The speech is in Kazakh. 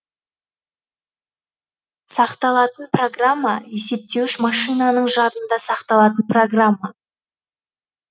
сақталатын программа есептеуіш машинаның жадында сақталатын программа